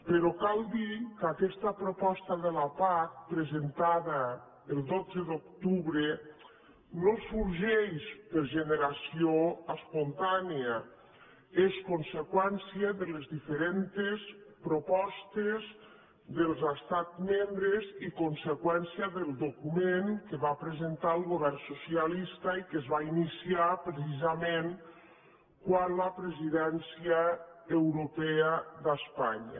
però cal dir que aquesta proposta de la pac presentada el dotze d’octubre no sorgeix per generació espontània és conseqüència de les diferents propostes dels estats membres i conseqüència del document que va presentar el govern socialista i que es va iniciar precisament quan la presidència europea d’espanya